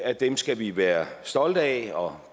at dem skal vi være stolte af og